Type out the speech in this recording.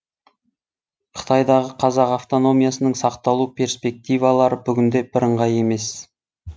қытайдағы қазақ автономиясының сақталу перспективалары бүгінде бірыңғай емес